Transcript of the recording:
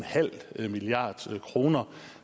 milliard kroner